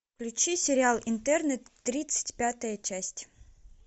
включи сериал интерны тридцать пятая часть